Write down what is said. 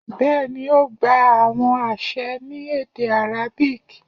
bẹẹni, o gba awọn aṣẹ ni ede arabic